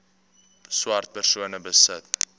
swart persone besit